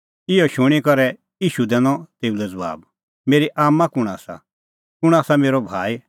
इहअ शूणीं करै ईशू दैनअ तेऊ लै ज़बाब मेरी आम्मां कुंण आसा कुंण आसा मेरअ भाई